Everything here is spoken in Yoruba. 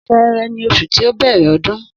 Sẹẹrẹ ni osun ti o bẹrẹ ọdún